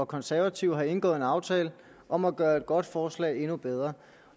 konservative har indgået en aftale om at gøre et godt forslag endnu bedre